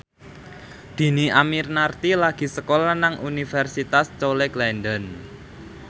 Dhini Aminarti lagi sekolah nang Universitas College London